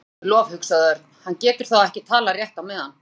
Guði sé lof, hugsaði Örn, hann getur þá ekki talað rétt á meðan.